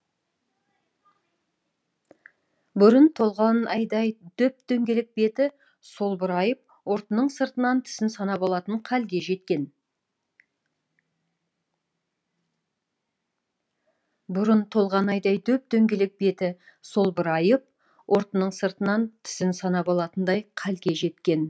бұрын толған айдай дөп дөңгелек беті солбырайып ұртының сыртынан тісін санап алатын халге жеткен